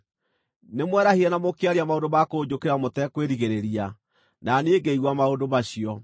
Nĩmwerahire na mũkĩaria maũndũ ma kũnjũkĩrĩra mũtekwĩgirĩrĩria na niĩ ngĩigua maũndũ macio.